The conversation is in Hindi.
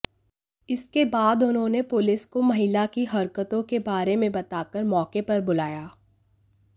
इसके बाद उन्होंने पुलिस को महिला की हरकतों के बारे में बताकर मौके पर बुलाया